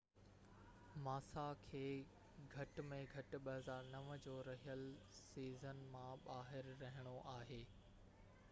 ماسا کي گهٽ ۾ گهٽ 2009 جو رهيل سيزن مان ٻاهر رهڻو آهي